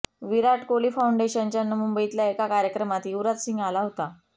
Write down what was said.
विराट कोहली फाऊंडेशनच्या मुंबईतल्या एका कार्यक्रमात युवराज सिंग आला होता